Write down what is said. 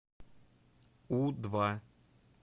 у два